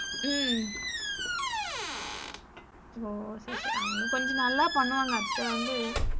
உம் ஒஹ்ஹ சேரி சேரி அவங்க கொஞ்சம் நல்லா பண்ணுவாங்க அத்த வந்து,